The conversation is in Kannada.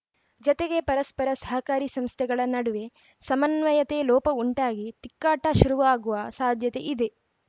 ಜತೆಗೆ ಪರಸ್ಪರ ಸರ್ಕಾರಿ ಸಂಸ್ಥೆಗಳ ನಡುವೆ ಸಮನ್ವಯತೆ ಲೋಪ ಉಂಟಾಗಿ ತಿಕ್ಕಾಟ ಶುರುವಾಗುವ ಸಾಧ್ಯತೆ ಇದೆ